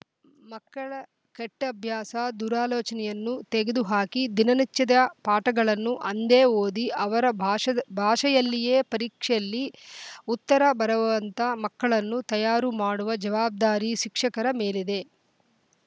ಮಕ್ಕಳ ಕೆಟ್ಟಅಭ್ಯಾಸ ದುರಾಲೋಚನೆಯನ್ನು ತೆಗೆದುಹಾಕಿ ದಿನನಿಚದ ಪಾಠಗಳನ್ನು ಅಂದೇ ಓದಿ ಅವರ ಭಾಷ್ ಭಾಷೆಯಲ್ಲಿಯೇ ಪರೀಕ್ಷೆಯೆಲ್ಲಿ ಉತ್ತರ ಬರೆವಂತ ಮಕ್ಕಳನ್ನು ತಯಾರು ಮಾಡುವ ಜವಾಬ್ದಾರಿ ಶಿಕ್ಷಕರ ಮೇಲಿದೆ